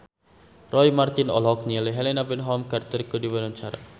Roy Marten olohok ningali Helena Bonham Carter keur diwawancara